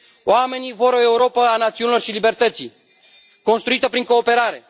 Oamenii vor o Europă a națiunilor și a libertății, construită prin cooperare.